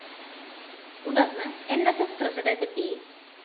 തുടര്‍ന്ന്‌ ന്‌ സ്‌ സ്‌ പ്രസിഡന്റ്‌ പി